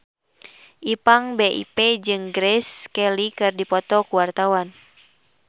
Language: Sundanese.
Ipank BIP jeung Grace Kelly keur dipoto ku wartawan